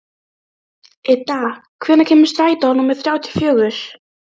Idda, hvenær kemur strætó númer þrjátíu og fjögur?